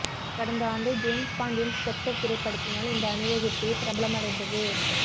கடந்த ஆண்டு ஜேம்ஸ் பாண்டின் ஸ்பெக்டர் திரைப்பட்த்தினால் இந்த அணிவகுப்பு பிரபலமடைந்தது